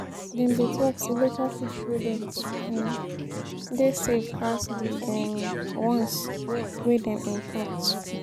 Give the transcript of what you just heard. Dem dey tok sey local food products um dey safe pass di um ones wey dem import.